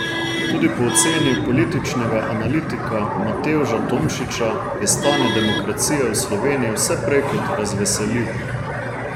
Tudi po oceni političnega analitika Matevža Tomšiča je stanje demokracije v Sloveniji vse prej kot razveseljivo.